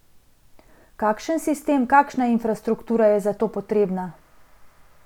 Kakšen sistem, kakšna infrastruktura je za to potrebna?